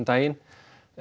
daginn